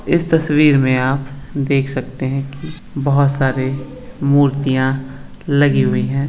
इस तस्वीर मे आप देख सकते है कि बहुत सारे मूर्तिया लगी हुई है।